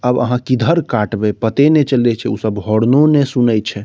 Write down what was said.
आब आहां किधर काटबे पते ने चले छै उ सब होर्नो ने सुने छै।